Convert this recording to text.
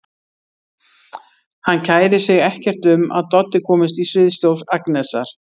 Hann kærir sig ekkert um að Doddi komist í sviðsljós Agnesar.